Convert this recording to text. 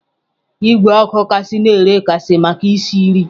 Igwe ọkụ gaasị na-ere gaasị maka isi nri.